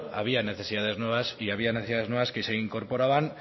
había necesidades nuevas y había necesidades nuevas que se incorporaban